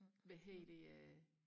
hvad hedder det øh